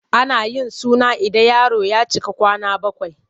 Ana yin suna ida yaro ya cika kwana bakwai.